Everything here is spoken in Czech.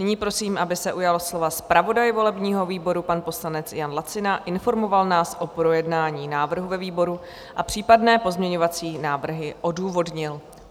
Nyní prosím, aby se ujal slova zpravodaj volebního výboru, pan poslanec Jan Lacina, informoval nás o projednání návrhu ve výboru a případné pozměňovací návrhy odůvodnil.